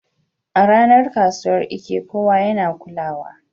A ranar kasuwar Eke, kowa yana kulawa.